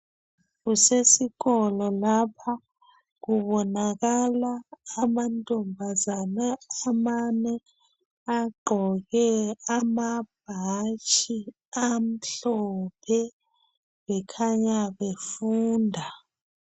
Kusesikolo lapha kubonakala amantombazana amane agqoke amabhatshi amhlophe bekhanya befunda.